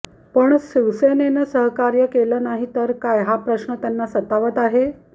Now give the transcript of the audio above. पण शिवसेनेने सहकार्य केले नाही तर काय हा प्रश्न त्यांना सतावत आहे